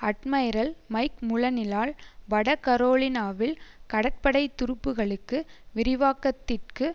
admiral Mike முல்லனிலால் வட கரோலினாவில் கடற்படை துருப்புகளுக்கு விரிவாக்கத்திற்கு